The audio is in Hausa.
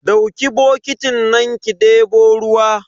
Dauki bokitin nan ki debo ruwa.